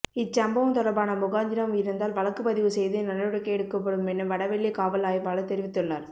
இச்சம்பவம் தொடர்பான முகாந்திரம் இருந்தால் வழக்கு பதிவு செய்து நடவடிக்கை எடுக்கப்படுமென வடவள்ளி காவல் ஆய்வாளர் தெரிவித்துள்ளார்